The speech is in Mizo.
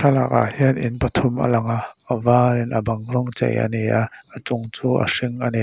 tlangah hian in pathum a lang a a var in a bang rawng chei a ni a a chung chu a hring a ni.